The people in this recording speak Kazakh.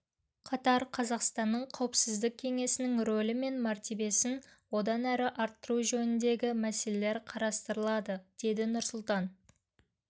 қатар қазақстанның қауіпсіздік кеңесінің рөлі мен мәртебесін одан әрі арттыру жөніндегі мәселелер қарастырылады деді нұрсұлтан